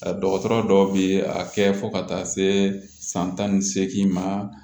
Dɔgɔtɔrɔ dɔw bɛ a kɛ fo ka taa se san tan ni seegin ma